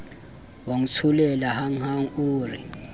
wa ntsholela hanghang o re